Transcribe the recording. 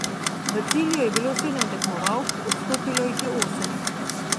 V cilju je bilo sedem tekmovalk, odstopilo jih je osem.